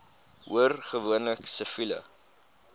hoor gewoonlik siviele